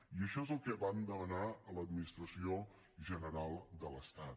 i això és el que vam demanar a l’administració general de l’estat